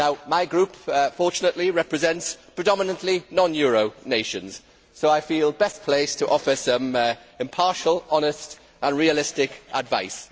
My group, fortunately, represents predominantly non euro nations, so I feel best placed to offer some impartial, honest and realistic advice.